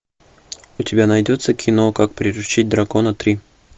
у тебя найдется кино как приручить дракона три